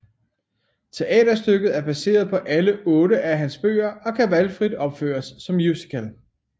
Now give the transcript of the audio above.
Teaterstykket er baseret på alle otte af hans bøger og kan valgfrit opføres som musical